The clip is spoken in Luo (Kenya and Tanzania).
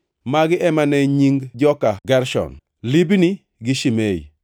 Magi ema ne nying joka Gershon: Libni gi Shimei.